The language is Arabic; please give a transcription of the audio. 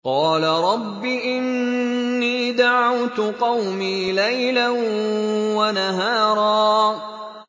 قَالَ رَبِّ إِنِّي دَعَوْتُ قَوْمِي لَيْلًا وَنَهَارًا